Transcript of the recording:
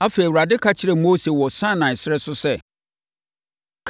Afei, Awurade ka kyerɛɛ Mose wɔ Sinai ɛserɛ so sɛ,